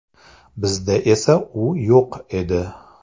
Bizda esa u yo‘q edi.